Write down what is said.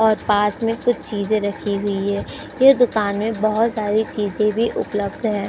और पास में कुछ चीज रखी हुई है। ये दुकान में बहुत सारी चीज भी उपलब्ध है।